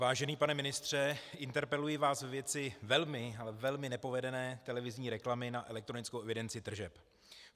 Vážený pane ministře, interpeluji vás ve věci velmi, ale velmi nepovedené televizní reklamy na elektronickou evidenci tržeb.